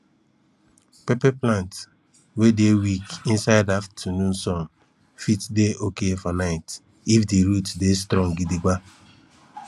pepper plant wey dey weak inside aftanoon sun fit dey oki for night if di root dey strong gidigba